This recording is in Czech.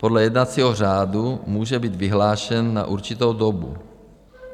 Podle jednacího řádu může být vyhlášen na určitou dobu.